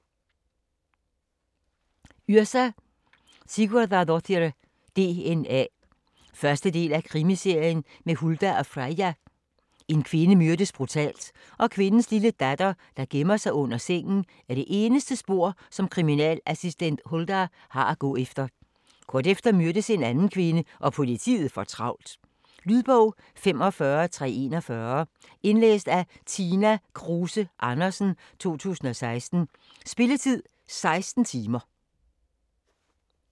Yrsa Sigurðardóttir: DNA 1. del af Krimiserien med Huldar og Freyja. En kvinde myrdes brutalt, og kvindens lille datter, der gemmer sig under sengen, er det eneste spor som kriminalassistent Huldar har at gå efter. Kort efter myrdes en anden kvinde og politiet får travlt. Lydbog 45341 Indlæst af Tina Kruse Andersen, 2016. Spilletid: 16 timer, 0 minutter.